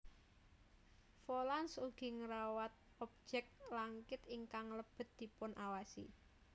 Volans ugi ngewrat objek langkit ingkang lebet dipunawasi